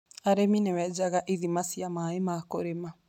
Arĩmi nĩ menjaga ithima cia maĩ ma kũrĩma.